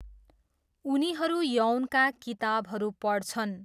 उनीहरू यौनका किताबहरू पढ्छन्।